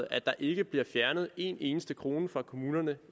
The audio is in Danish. at der ikke bliver fjernet en eneste krone fra kommunerne